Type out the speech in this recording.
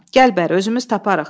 Gəl bəri, özümüz taparıq.